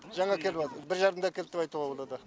жаңа келіп жатыр бір жарымда әкелді деп айтуға болады